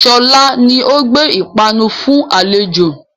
Sọlá ni ó gbé ìpanu fún àlejò